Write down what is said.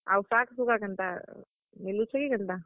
ଆଉ ଶାଗ୍, ଶୁଗା କେନ୍ତା, ମିଲୁଛେ କି କେନ୍ତା?